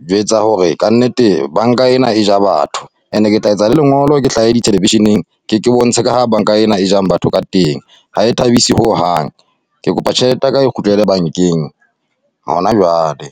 jwetsa hore ka nnete banka ena e ja batho, and-e ke tla etsa lengolo ke hlahe di-television-eng. Ke, Ke bontshe ka ha banka ena e jang batho ka teng. Ha e thabisi ho hang, ke kopa tjhelete yaka e kgutlele bankeng hona jwale.